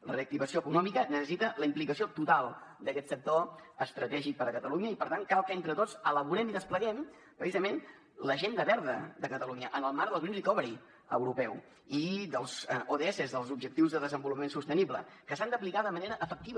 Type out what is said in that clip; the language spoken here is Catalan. la reactivació econòmica necessita la implicació total d’aquest sector estratègic per a catalunya i per tant cal entre tots elaborem i despleguem precisament l’agenda verda de catalunya en el marc del green recovery europeu i dels ods dels objectius de desenvolupament sostenible que s’han d’aplicar de manera efectiva